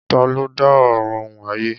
Ta ló dá Ọ̀run òun ayé?